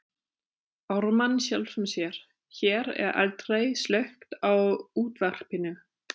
Ármann sjálfum sér,- hér er aldrei slökkt á útvarpinu.